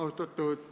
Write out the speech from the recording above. Suur tänu!